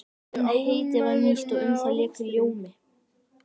En heitið var nýtt og um það lék ljómi.